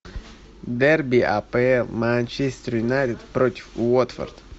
дерби апл манчестер юнайтед против уотфорд